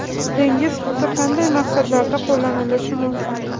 Dengiz tuzi qanday maqsadlarda qo‘llanilishi mumkin?.